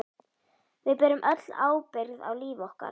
Við berum öll ábyrgð á lífi okkar.